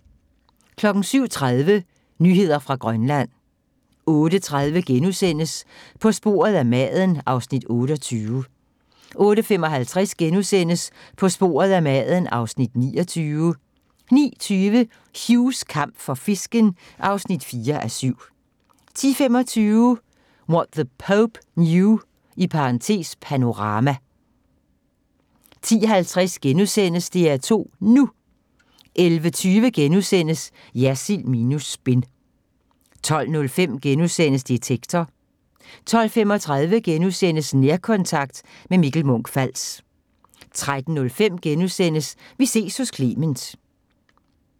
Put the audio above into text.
07:30: Nyheder fra Grønland 08:30: På sporet af maden (Afs. 28)* 08:55: På sporet af maden (Afs. 29)* 09:20: Hughs kamp for fisken (4:7) 10:25: What The Pope Knew (Panorama) 10:50: DR2 NU * 11:20: Jersild minus spin * 12:05: Detektor * 12:35: Nærkontakt – med Mikkel Munch-Fals * 13:05: Vi ses hos Clement *